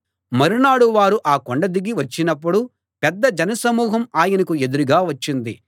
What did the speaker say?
మరునాడు వారు ఆ కొండ దిగి వచ్చినప్పుడు పెద్ద జనసమూహం ఆయనకు ఎదురుగా వచ్చింది